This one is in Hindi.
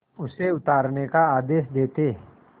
उसे उतारने का आदेश देते